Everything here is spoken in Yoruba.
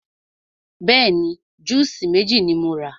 Bẹ́ẹ̀ni, júùsí méjì ni mo rà.